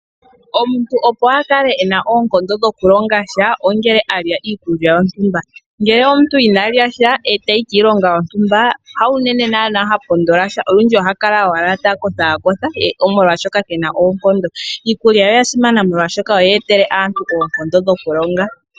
Omuntu opo akale ena oonkondo dhoku longasha ongele alya iikulya yontumba, ngele omuntu ina lyasha etayi kiilonga yontumba hawu nene naana ha pondolasha olundji ohakala owala takotha kotha molwashoka kena oonkondo. Iikulya oya simana molwashoka oyetele aantu oonkondo dho kulonga.